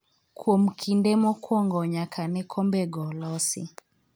kuom kinde mokwongo nyaka ne kombego losi